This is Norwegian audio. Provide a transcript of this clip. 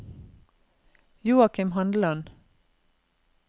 Joakim Handeland